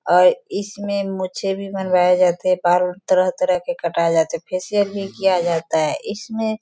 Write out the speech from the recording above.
और इसमें मुछें भी बनवाया जाते हैं बाल तरह-तरह के कटाये जाते हैं फेसिअल भी किया जाता है इसमें --